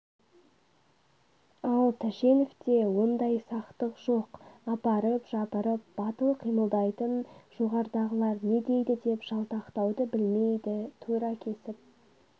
ал тәшеновте ондай сақтық жоқ апырып-жапырып батыл қимылдайтын жоғарыдағылар не дейді деп жалтақтауды білмейді тура кесіп